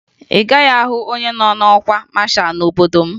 Ị gaghị ahụ onye nọ n'ọkwa masha n'obodo m